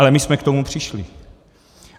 Ale my jsme k tomu přišli!